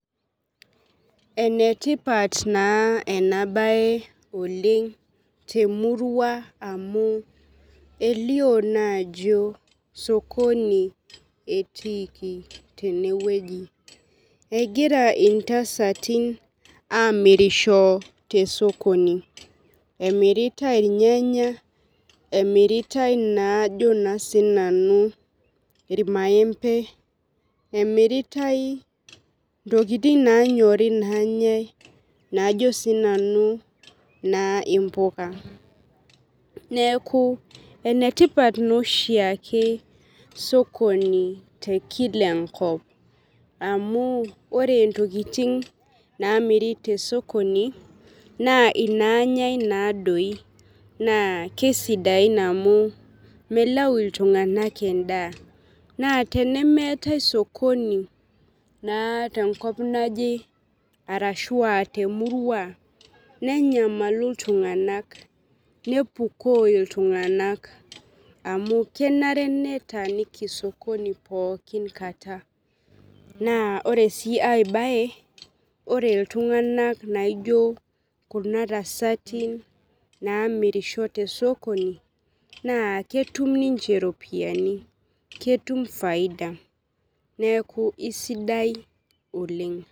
Enetipat naa ena bae Oleng' temurua amuu elio naa ajo sokoni etiiki teneweji. Egira intasatin amirisho te sokoni. Emiratae irnyanya , emiratae naa ajo sii nanu irmaembe emiratae intokitin naanyori nanyae najo sii nanu naa imbuka. Neeku enetipat naa oshi ake sokoni tee kila enkop amu ore ntokitin naamiri te sokoni naa inanyae naadoi naa kisidain amu melau iltung'anak edaa . Na tenemetae sokoni naa tenkop naje arashua temurua, nenyamalu iltung'anak, nepuuko iltung'anak amuu kenare netaniki sokoni pookin kaata naa ore siiae bae, orr iltung'anak naijo kuna tasatin naamirisho tee sokoni naa ketum ninche iropian, ketum faida neeku isidai oleng'.